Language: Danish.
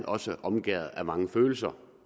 også omgærdet af mange følelser